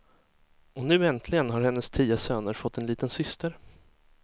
Och nu äntligen har hennes tio söner fått en liten syster.